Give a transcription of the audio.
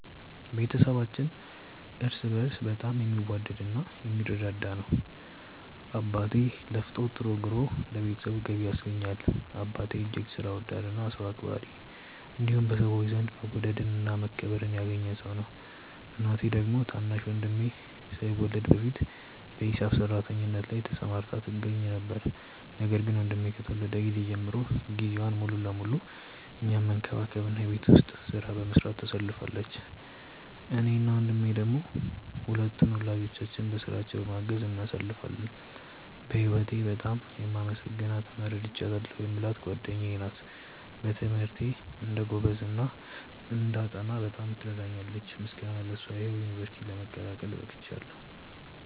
ቤተሰባችን እርስ በእርስ በጣም የሚዋደድ እና የሚረዳዳ ነው። አባቴ ለፍቶ ጥሮ ግሮ ለቤተሰቡ ገቢ ያስገኛል። አባቴ እጅግ ሥራ ወዳድ እና ሰው አክባሪ እንዲሁም በሰዎች ዘንድ መወደድን እና መከበርን ያገኘ ሰው ነው። እናቴ ደግሞ ታናሽ ወንድሜ ሳይወለድ በፊት በሂሳብ ሰራተኝነት ላይ ተሰማርታ ትገኛ ነበር፤ ነገር ግን ወንድሜ ከተወለደ ጊዜ ጀምሮ ጊዜዋን ሙሉ ለሙሉ እኛን መንከባከብ እና የቤት ውስጡን ሥራ በመስራት ታሳልፋለች። እኔ እና ወንድሜ ደሞ ሁለቱን ወላጆቻችንን በሥራቸው በማገዝ እናሳልፋለን። በህወቴ በጣም የማመሰግናት እና ረድታኛለች የምላት ጓደኛዬ ናት። በትምህርቴ እንድጎብዝ እና እንዳጠና በጣም ትረዳኛለች። ምስጋና ለሷ ይሁንና ዩንቨርስቲ ለመቀላቀል በቅቻለው።